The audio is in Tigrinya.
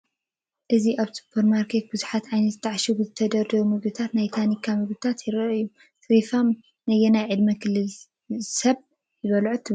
እዚ ኣብ ሱፐርማርኬት ብዙሕ ዓይነት ዝተዓሺጉን ዝተደርደሩን ምግብታትን ናይ ታኒካ ምግብታትን ይራኣዩ፡፡ ሴሪፋም ነየናይ ዕድመ ክልል ዘሎ ሰብ ይበልዖ ትብሉ?